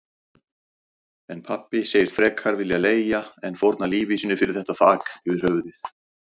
En pabbi segist frekar vilja leigja en fórna lífi sínu fyrir þetta þak yfir höfuðið.